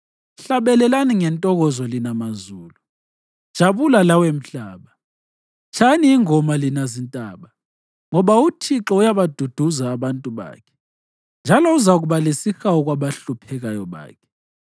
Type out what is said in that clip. Hlabelelani ngentokozo lina mazulu; jabula lawe mhlaba; tshayani ingoma lina zintaba. Ngoba uThixo uyabaduduza abantu bakhe njalo uzakuba lesihawu kwabahluphekayo bakhe.